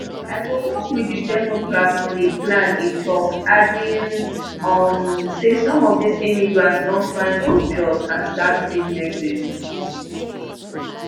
i go work with di democrats on a plan e tok adding um say some of dis immigrants don find good jobs and start businesses